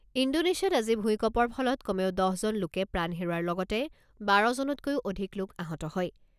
ইণ্ডোনেছিয়াত আজি ভূঁইকপৰ ফলত কমেও দহজন লোকে প্ৰাণ হেৰুওৱাৰ লগতে বাৰজনতকৈও অধিক লোক আহত হয়।